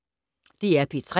DR P3